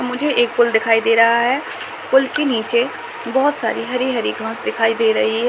मुझे एक पुल दिखाई दे रहा है। पल के नीचे बहुत सारी हरी-हरी घांस दिखाई दे रही है।